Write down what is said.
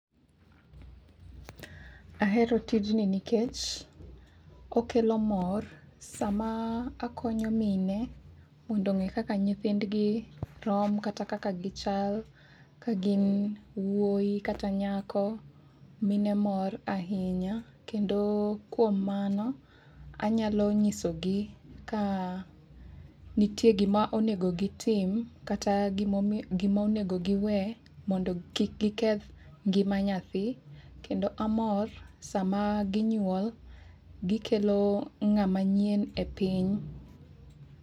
Ahero tijni nikech okelo mor sama akonyo mine mondo ong'e kaka nyithindgi rom kata kaka gichal ka gin wuoi kata nyako mine mor ahinya. Kendo kuom mano anyalo nyisogi ka nitie gima onego gitim kata gima onego gi we mondo kik giketh ngima nyathi. Kendo amor sama ginyuol gikelo ng'ama nyien e piny.